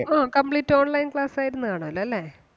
ആ complete online class ആയിരുന്ന് കാണുവല്ലോല്ലേ?